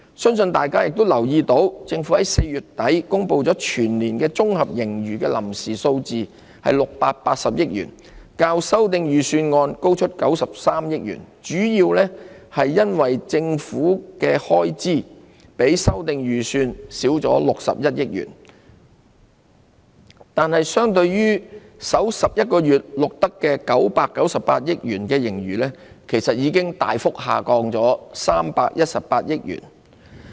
相信大家已留意到，政府在4月底公布全年度的綜合盈餘臨時數字為680億元，較修訂預算案高出93億元，主要是因為政府的開支較修訂預算少了61億元，但相對於首11個月錄得的998億元盈餘，其實已大幅下降318億元。